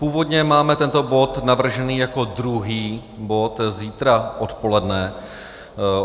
Původně máme tento bod navržený jako druhý bod zítra odpoledne.